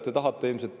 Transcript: Te tahate ilmselt …